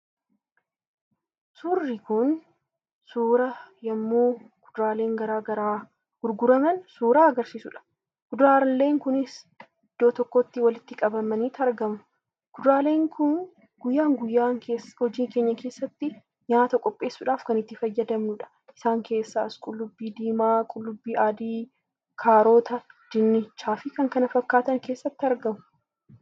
suurri kun suuraa yemmuu kuduraaleen garaa garaa gurguraman suuraa agarsiisuudha. kuduraaleen kunis iddoo tokkotti walitti qabamaniiti argamu. kuduraaleen kun guyyaa guyyaa hojii keenya keessatti nyaata qopheessuudhaaf kan itti fayyadamnuudha. Isaan keessaas qullubbii diimaa, qullubbii aadii, kaaroota, dinnichaa fi kan kana fakkaatan keessatti argamu.